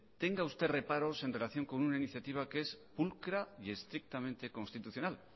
tenga usted reparos en relación con una iniciativa que es pulcra y estrictamente constitucional